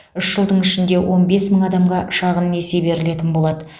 үш жылдың ішінде он бес мың адамға шағын несие берілетін болады